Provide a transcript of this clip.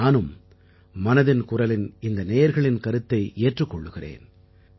நானும் மனதின் குரல் நிகழ்ச்சியின் நேயர்களின் இந்தக் கருத்தை ஏற்றுக் கொள்கிறேன்